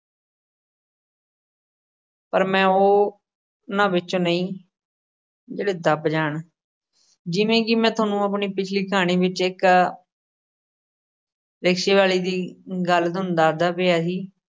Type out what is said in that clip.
ਪਰ ਮੈਂ ਉਹ ਅਹ ਨਾਂ ਵਿੱਚੋਂ ਨਈ ਜਿਹੜੇ ਦਬ ਜਾਣ। ਜਿਵੇਂ ਕਿ ਮੈਂ ਥੋਨੂੰ ਆਪਣੀ ਪਿਛਲੀ ਕਹਾਣੀ ਵਿੱਚ ਇੱਕ rickshaw ਵਾਲੇ ਦੀ ਗੱਲ ਤੁਹਾਨੂੰ ਦੱਸਦਾ ਪਿਆ ਸੀ।